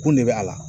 Kun de bɛ a la